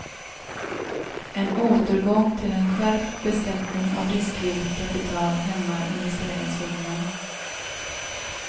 En återgång till en skärpt beskattning av riskvilligt kapital hämmar investeringsviljan.